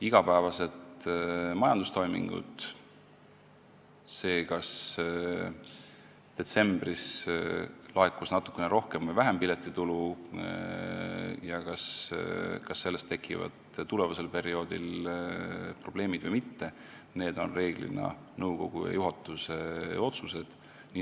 Igapäevased majandustoimingud, see, kas detsembris laekus natuke rohkem või vähem piletitulu ja kas sellest tekivad tulevasel perioodil probleemid või mitte, on reeglina nõukogu ja juhatuse otsused.